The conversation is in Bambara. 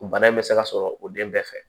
O bana in bɛ se ka sɔrɔ o den bɛɛ fɛ